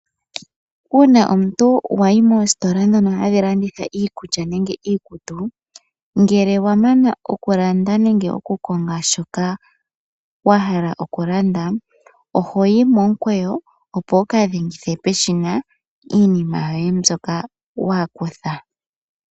Uuna omuntu wa yi moositola ndhono hadhi landitha iikulya nenge iikutu ngele wa mana okulanda nenge okukonga shoka wa hala okulanda oho yi momukweyo opo wu ka dhengithe peshina iinima yoye mbyoka wa kutha.